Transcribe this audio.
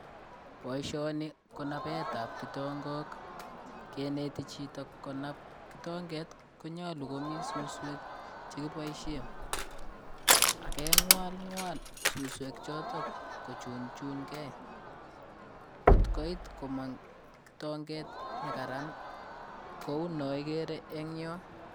Boishoni ko napeetab kitongok. Kenetichito konab kitonget konyolu komii suswek chekiboishen. Ageng'walng'wal suswechoto kochunchungei kotkoit komang kitonget nekararan kou naigere eng'yo.